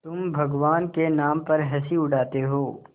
तुम भगवान के नाम पर हँसी उड़ाते हो